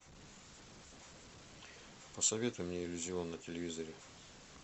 посоветуй мне иллюзион на телевизоре